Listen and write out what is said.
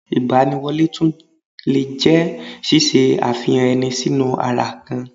Ìgbaniwọlé tún lè jẹ́ ṣíṣe àfihàn ẹni sínú ara ka